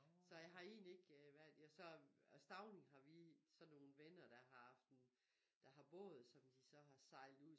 Så jeg har egentlig ikke øh været ja så og Stauning har vi så nogle venner der har haft en der har båd som de så har sejlet ud